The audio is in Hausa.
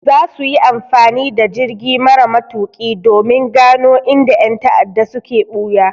Za su yi amfani da jirgi mara matuƙi domin gano inda ƴan ta'adda suke ɓuya.